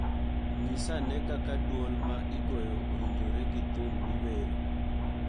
Nyis ane kaka dwol ma igoyo owinjore gi thum miwero.